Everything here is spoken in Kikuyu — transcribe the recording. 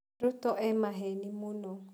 Ruto e maheni mũno.